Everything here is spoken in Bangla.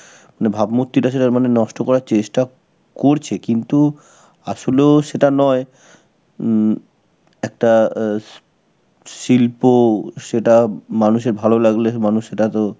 মানে ভাবমূর্তিটা সেটা মানে নষ্ট করার চেষ্টা করছে কিন্তু আসলেও সেটা নয়. হম একটা শিল্প সেটা মানুষের ভালো লাগলে, মানুষ সেটা তো